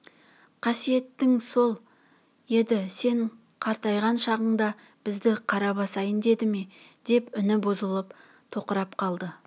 қасиетің сол еді сен қартайған шағыңда бізді қара басайын деді ме деп үні бұзылып тоқырап қалды